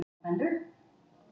Hver erfir hann?